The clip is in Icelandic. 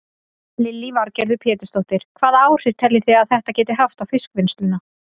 Lillý Valgerður Pétursdóttir: Hvaða áhrif telji þið að þetta geti haft á fiskvinnsluna?